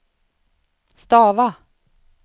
stava